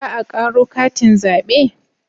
Za a karo katin zabe?